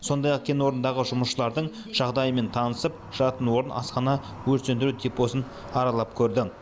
сондай ақ кен орнындағы жұмысшылардың жағдайымен танысып жатын орын асхана өрт сөндіру депосын аралап көрді